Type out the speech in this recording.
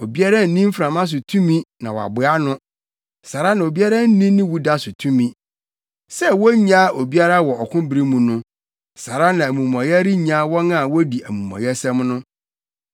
Obiara nni mframa so tumi na waboa ano; saa ara na obiara nni ne wuda so tumi. Sɛ wonnyaa obiara wɔ ɔko bere mu no, saa ara na amumɔyɛ rennyaa wɔn a wodi amumɔyɛsɛm no.